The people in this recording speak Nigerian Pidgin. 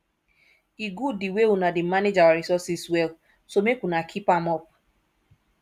e good the way una dey manage our resources well so make una keep am up